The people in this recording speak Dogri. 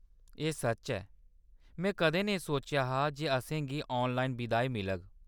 एह् सच्च ऐ, में कदें नेईं सोचेआ हा जे असेंगी ऑनलाइन बिदाई मिलेगी